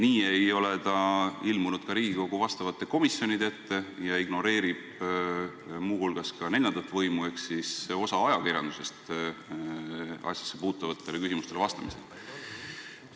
Nii ei ole ta ilmunud ka Riigikogu vastavate komisjonide ette ja ignoreerib muu hulgas ka neljandat võimu ehk osa ajakirjandusest asjassepuutuvatele küsimustele vastamisel.